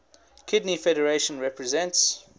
kidney federation represents